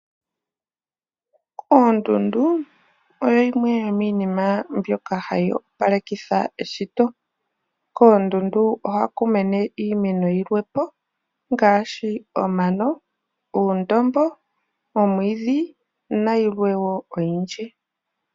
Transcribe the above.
Oondundu oyo yimwe yomiinima mbyoka hayi opalekitha eshito, koondundu ohaku mene iimeno yiilwe po ngaashi omano, uundombo, omwiidhi nayilwe wo oyindji.